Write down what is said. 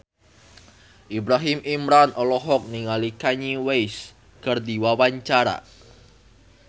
Ibrahim Imran olohok ningali Kanye West keur diwawancara